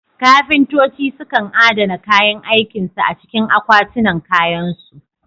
Kafintoci sukan adana kayan aikin su a cikin akwatinan kayansu.